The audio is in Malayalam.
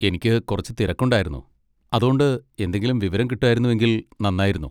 എനിക്ക് കുറച്ച് തിരക്കുണ്ടായിരുന്നു, അതോണ്ട് എന്തെങ്കിലും വിവരം കിട്ടുവായിരുന്നെങ്കിൽ നന്നായിരുന്നു.